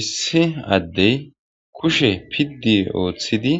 Issi adde kushshe piddi ottidi